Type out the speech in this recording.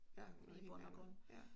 I bund og grund